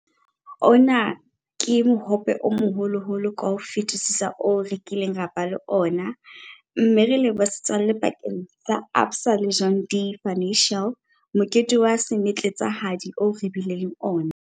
Ona ke mohope o moholoholo ka ho fetisisa oo re kileng ra ba le ona, mme re leboha setswalle pakeng tsa ABSA le John Deere Financial. Mokete wa semetletsahadi oo re bileng le ona.